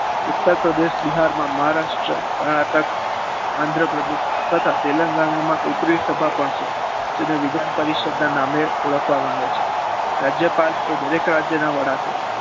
ઉત્તર પ્રદેશ બિહારમાં મહારાષ્ટ્ર કર્ણાટક આંધ્ર પ્રદેશ તથા તેલંગાણા માં ઉપરી સભા પણ છે. જેને વિધાન સભા પરિષદના નામે ઓળખવામાં આવે છે. રાજ્યપાલ એ દરેક રાજ્યના વડા છે.